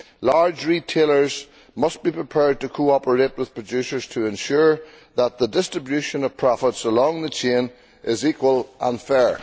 Large retailers must be prepared to cooperate with producers in order to ensure that the distribution of profits along the chain is equal and fair.